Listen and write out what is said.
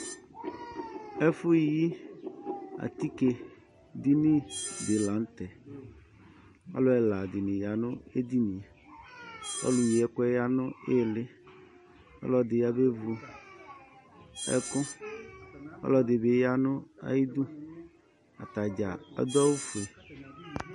ɛƒʋyii atike dini di la ŋtɛ alʋ ɛladini yanʋ edinie ɔlʋ yi ɛkʋɛ yanʋ ilii ɔlʋɛdi yabevʋ ɛkʋ ɔlʋɛdibi yanʋ ayidʋ atadza adʋ awʋƒʋe